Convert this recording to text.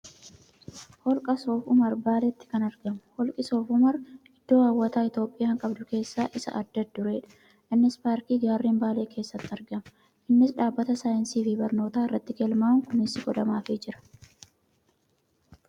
Holqa soof umar baaleetti kan argamu. Holqi soof umar iddoo hawwataa Itiyoophiyaan qabdu keessa isa adda dureedha. Innis paarkii gaarreen baalee keessatti argama. Innis dhaabbata saayinsiifi barnootaa irratti galma'uun kunuunsi godhamaafii jira.